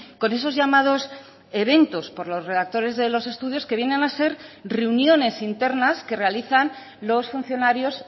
con esos llamados eventos por los redactores de los estudios que vienen a ser reuniones internas que realizan los funcionarios